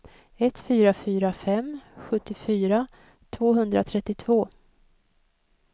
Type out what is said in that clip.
ett fyra fyra fem sjuttiofyra tvåhundratrettiotvå